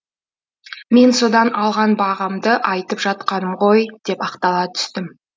мен содан алған бағамды айтып жатқаным ғой деп ақтала түстім